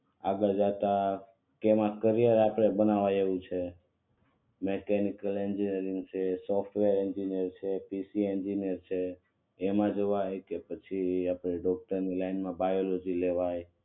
આગળ જતા કેમ કરિયર બનાવવા જેવું છે મેકેનિકલ એન્જિનિયરિંગ છે સોફ્ટવેર એન્જિનિયરિંગ છે પી સી એન્જિનિયરિંગ છેએમાં જવા એ પછી ડોક્ટર ની લાઈન માં જવા બાયોલોજી લેવાય